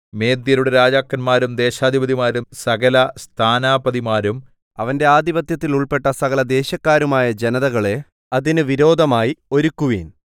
മേദ്യരുടെ രാജാക്കന്മാരും ദേശാധിപതിമാരും സകല സ്ഥാനാപതിമാരും അവന്റെ ആധിപത്യത്തിൽ ഉൾപ്പെട്ട സകലദേശക്കാരുമായ ജനതകളെ അതിന് വിരോധമായി ഒരുക്കുവിൻ